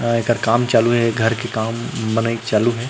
आ एकर काम चालू हे घर के काम बनाइक चालू हे।